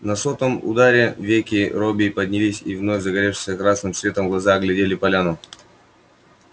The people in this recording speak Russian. на сотом ударе веки робби поднялись и вновь загоревшиеся красным светом глаза оглядели поляну